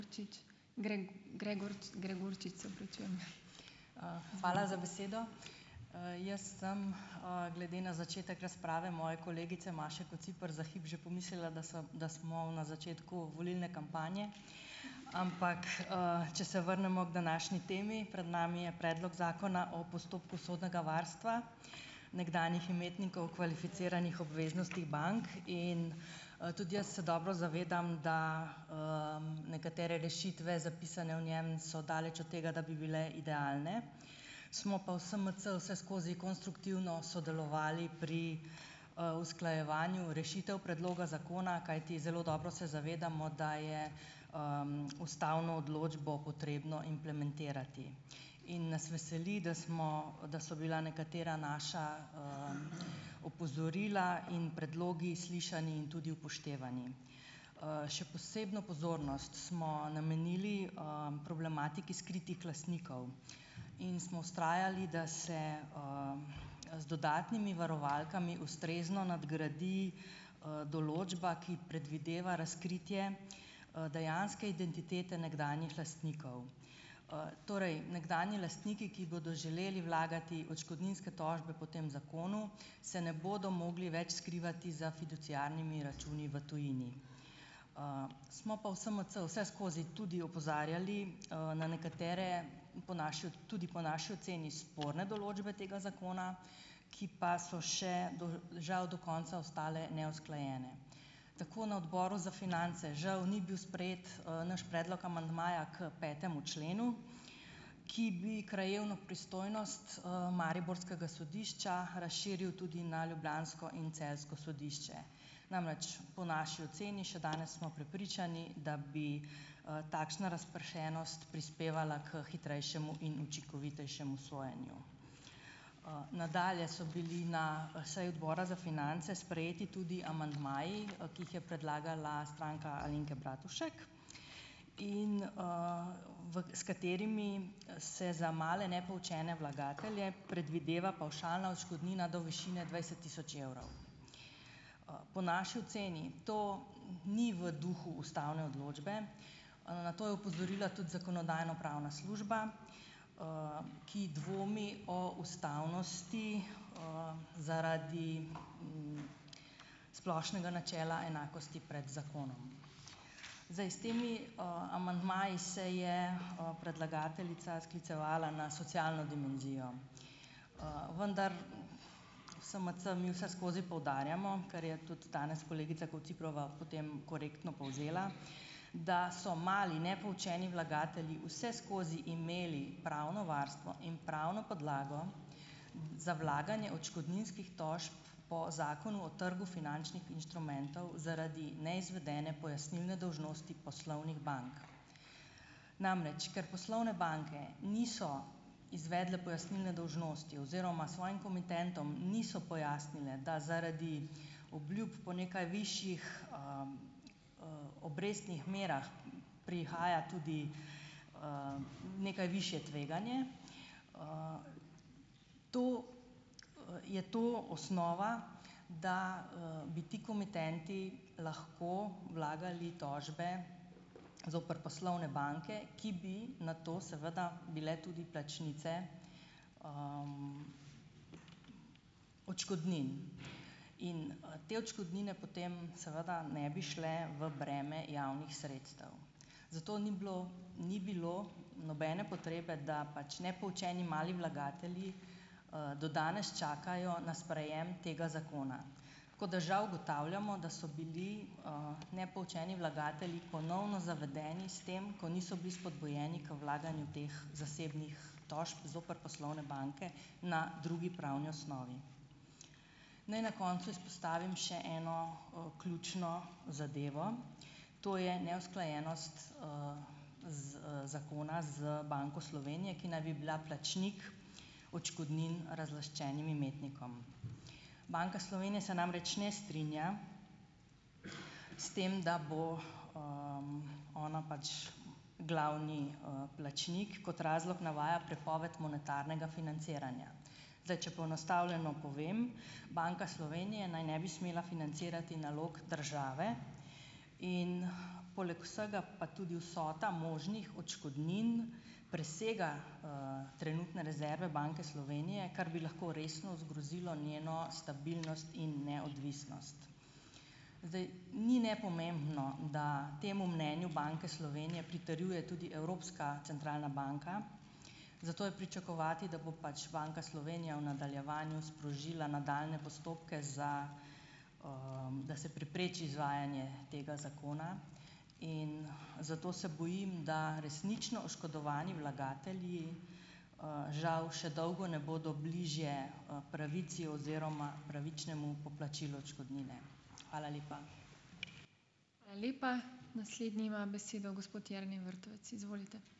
Hvala za besedo. jaz sem, glede na začetek razprave moje kolegice Maše Kociper za hip že pomislila, da sem da smo na začetku volilne kampanje, ampak, če se vrnemo k današnji temi, pred nami je predlog zakona o postopku sodnega varstva nekdanjih imetnikov kvalificiranih obveznosti bank in, tudi jaz se dobro zavedam, da, nekatere rešitve zapisane v njem so daleč od tega, da bi bile idealne, smo pa v SMC vseskozi konstruktivno sodelovali pri, usklajevanju rešitev predloga zakona, kajti zelo dobro se zavedamo, da je, ustavno odločbo potrebno implementirati, in nas veseli, da smo, da so bila nekatera naša opozorila in predlogi slišani in tudi upoštevani, še posebno pozornost smo namenili, problematiki skritih lastnikov in smo vztrajali, da se, z dodatnimi varovalkami ustrezno nadgradi, določba, ki predvideva razkritje, dejanske identitete nekdanjih lastnikov, torej nekdanji lastniki, ki bodo želeli vlagati odškodninske tožbe po tem zakonu, se ne bodo mogli več skrivati za fiduciarnimi računi v tujini, smo pa v SMC vse skozi tudi opozarjali, na nekatere po naši tudi po naši oceni sporne določbe tega zakona, ki pa so še do žal do konca ostale neusklajene, tako na odboru za finance žal ni bil sprejet, naš predlog amandmaja k petemu členu, ki bi krajevno pristojnost, mariborskega sodišča razširil tudi na ljubljansko in celjsko sodišče, namreč po naši oceni še danes smo prepričani, da bi, takšna razpršenost prispevala k hitrejšemu in učinkovitejšemu sojenju. Nadalje so bili na seji odbora za finance sprejeti tudi amandmaji, ki jih je predlagala Stranka Alenke Bratušek in, v s katerimi se za male nepoučene vlagatelje predvideva pavšalna odškodnina do višine dvajset tisoč evrov. Po naši oceni to ni v duhu ustavne odločbe, na to je opozorila tudi zakonodajno-pravna služba, ki dvomi o ustavnosti, zaradi splošnega načela enakosti pred zakonom, zdaj s temi, amandmaji se je, predlagateljica sklicevala na socialno dimenzijo, vendar v SMC mi vseskozi poudarjamo, kar je tudi danes kolegica Kociprova potem korektno povzela, da so mali nepoučeni vlagatelji vseskozi imeli pravno varstvo in pravno podlago za vlaganje odškodninskih tožb po zakonu o trgu finančnih inštrumentov zaradi neizvedene pojasnilne dolžnosti poslovnih bank, namreč ker poslovne banke niso izvedle pojasnilne dolžnosti oziroma svojim komitentom niso pojasnile, da zaradi obljub po nekaj višjih obrestnih merah prihaja tudi, nekaj višje tveganje. To je, to osnova, da, bi ti komitenti lahko vlagali tožbe zoper poslovne banke, ki bi na to seveda bile tudi plačnice odškodnin, in te odškodnine potem seveda ne bi šle v breme javnih sredstev, zato ni bilo ni bilo nobene potrebe, da pač nepoučeni mali vlagatelji, do danes čakajo na sprejem tega zakona, tako da žal ugotavljamo, da so bili, nepoučeni vlagatelji ponovno zavedeni s tem, ko niso bili spodbujeni k vlaganju teh zasebnih tožb zoper poslovne banke na drugi pravni osnovi. Naj na koncu izpostavim še eno, ključno zadevo, to je neusklajenost, z, zakona z Banko Slovenije, ki naj bi bila plačnik odškodnin razlaščenim imetnikom. Banka Slovenije se namreč ne strinja s tem, da bo, ona pač glavni, plačnik, kot razlog navaja prepoved monetarnega financiranja, zdaj če poenostavljeno povem, Banka Slovenije naj ne bi smela financirati nalog države in poleg vsega pa tudi vsota možnih odškodnin presega, trenutne rezerve Banke Slovenije, kar bi lahko resno zgrozilo njeno stabilnost in neodvisnost, zdaj ni nepomembno, da temu mnenju Banke Slovenije pritrjuje tudi Evropska centralna banka, zato je pričakovati, da bo pač Banka Slovenije v nadaljevanju sprožila nadaljnje postopke za, da se prepreči izvajanje tega zakona, zato se bojim, da resnično oškodovani vlagatelji žal še dolgo ne bodo bližje pravici oziroma pravičnemu poplačilu odškodnine, hvala lepa.